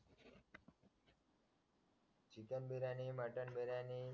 chicken biryani mutton biryani